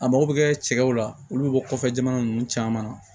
A mago bɛ kɛ cɛw la olu bɛ bɔ kɔfɛ jamana ninnu caman na